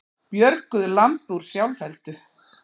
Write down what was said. Björguðu lambi úr sjálfheldu